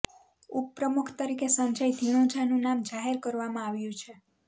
ઉપપ્રમુખ તરીકે સંજય ધીણોજાનું નામ જાહેર કરવામાં આવ્યું છે